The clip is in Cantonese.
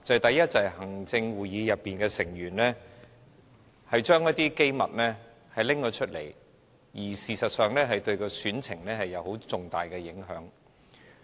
第一，就是行政會議成員把一些機密外泄，這事實上對選情有重大影響。